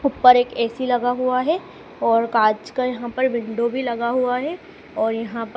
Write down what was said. ऊपर एक ए_सी लगा हुआ है और कांच का यहां पर विंडो भी लगा हुआ है और यहां पर--